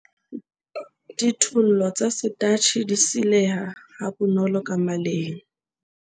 Dithollo tsa setatjhe di sileha ha bonolo ka maleng.